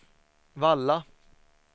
Valla